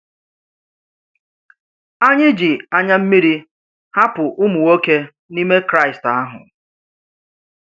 Ányị̀ jì ànyà mmírí hàpụ̀ ụmụ̀nwòké n’ime Kraịst ahụ́.